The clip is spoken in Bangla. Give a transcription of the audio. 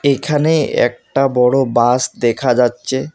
এখানে একটা বড়ো বাস দেখা যাচ্ছে।